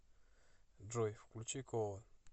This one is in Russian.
джой включи кола